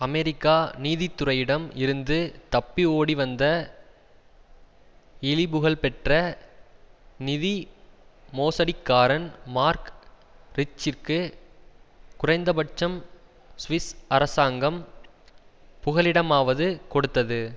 America நீதித்துறையிடம் இருந்து தப்பி ஓடி வந்த இழிபுகழ்பெற்ற நிதி மோசடிக்காரன் மார்க் ரிச்சிற்கு குறைந்தபட்சம் சுவிஸ் அரசாங்கம் புகலிடமாவது கொடுத்தது